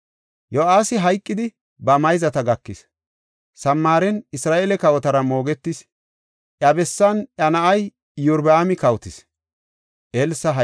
Yo7aasi hayqidi, ba mayzata gakis; Samaaren Isra7eele kawotara moogetis. Iya bessan iya na7ay Iyorbaami kawotis.